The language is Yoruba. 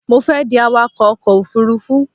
Mo fẹ́ di awakọ̀ ọkọ̀ òfurufú